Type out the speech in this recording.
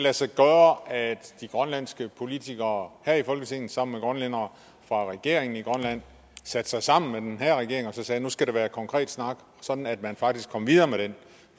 lade sig gøre at de grønlandske politikere her i folketinget sammen med grønlændere fra regeringen i grønland satte sig sammen med den her regering og sagde nu skal der være konkret snak sådan at man faktisk kom videre med den